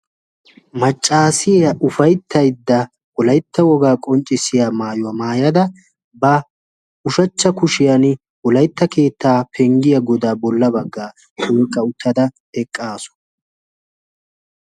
Maccaasiya ufayttaydda wolaytta wogaa qonccissiya maayuwaa maayada ba ushachcha kushiyan wolaytta keettaa penggiya godaa bolla baggaa punqqa uttada eqqaasu